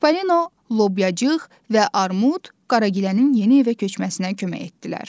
Çipallino, Lobyacıq və Armud Qaragilənin yeni evə köçməsinə kömək etdilər.